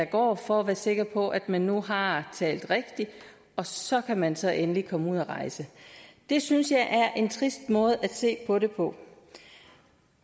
går for at være sikker på at man nu har talt rigtigt og så kan man så endelig komme ud at rejse det synes jeg er en trist måde at se på det på